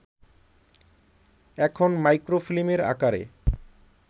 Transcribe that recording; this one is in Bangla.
এখন মাইক্রোফিল্মের আকারে